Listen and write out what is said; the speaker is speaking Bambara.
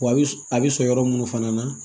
Wa a bɛ a bɛ sɔrɔ yɔrɔ minnu fana na